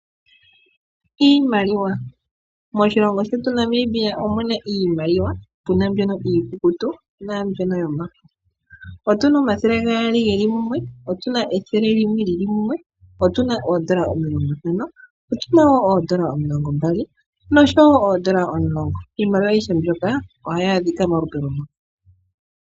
Iimaliwa. Moshilongo shetu Namibia omuna iimaliwa iikukutu naambyono yomafo . Otuna omathele gaali geli mumwe ,otuna ethele lili munwe, otuna oondola omilongontano, otuma woo oondola omilongombali noshowo oondola omulongo. Iimaluwa ayihe mbyoka ohayi adhika molupe lumwe.